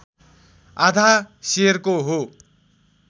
आधा सेरको हो